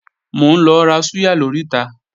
Mò ń lọ ra súyà lóríta